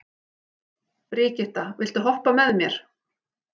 Brigitta, viltu hoppa með mér?